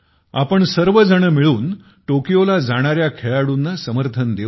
आपण सर्वजण मिळून टोकियोला जाणाऱ्या खेळाडूंना समर्थन देऊ या